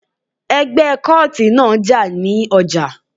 Ẹgbẹ́ kóòtì náà jà ní ọjà